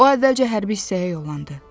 O əvvəlcə hərbi hissəyə yollandı.